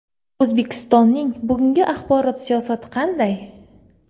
O‘zbekistonning bugungi axborot siyosati qanday?